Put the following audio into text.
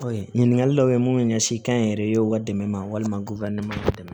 ɲininkali dɔw ye mun ɲɛsin kɛnyɛrɛyew ka dɛmɛ ma walima k'u ka nɔnɔ dɛmɛ